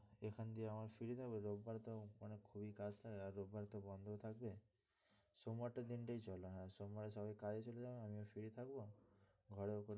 এখান দিয়ে আমরা free থাকবো রোববার তো মানে খুবই কাজ থাকবে আর রোববারে তো বন্ধও থাকবে সোমবারটা দিনটাই চলো হ্যাঁ সোমবারে সবাই কাজে চলে যাবে আমিও free থাকবো ঘরেও কোনো,